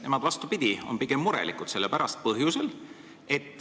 Nemad, vastupidi, on pigem murelikud selle pärast.